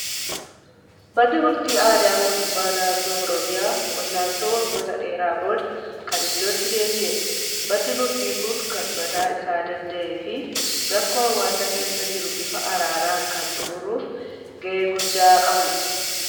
Manni murtii aadaa mootummaa naannoo Oromiyaa wal'aansoo waggoota dheeraa booda kan iddootti deebi'edha. Manni murtii kun kan mataa isaa danda'ee fi rakkoo hawaasa keessa jiru bifa araaraan kan xumuruuf gahee guddaa qabudha.